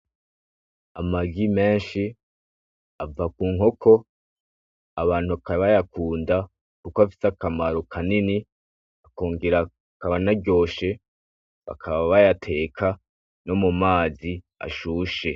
Amagi menshi ava ku nkoko abantu bakaba bayakunda kuko afite akamaro kanini akongera akaba anaryoshe bakaba bayateka no mu mazi ashushe.